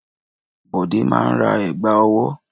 Bọ̀dé máa ń ra ẹ̀gbá-ọwọ́.